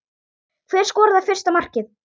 Hver skoraði fyrsta markið?